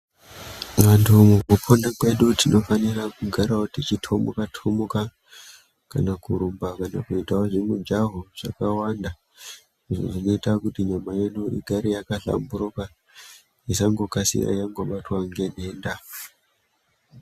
Vantu mukupona kwedu tinofanira kugarawo tichitomuka-tomuka kana kurumba kana kuitawo zvimujaho zvakawanda izvo zvinoita kuti nyama yedu igare yakahlamburuka isangokasira yangobatwa ngenhenda.